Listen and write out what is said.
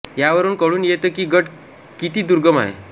यावरून कळून येतं की गड किती दुर्गम आहे